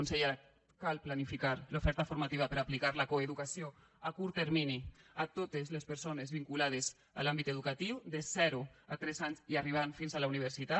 consellera cal planificar l’oferta formativa per aplicar la coeducació a curt termini a totes les persones vinculades a l’àmbit educatiu des de zero a tres anys fins a arribar a la universitat